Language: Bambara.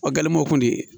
O gɛlɛmanw kɔni ye